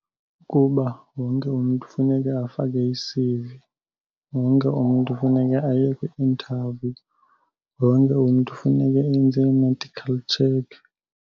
Kuba wonke umntu funeke afake i-C_V, wonke umntu funeke aye kwi-interview, wonke umntu funeke enze i-medical check.